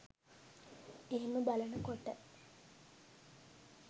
එහෙම බලන කොට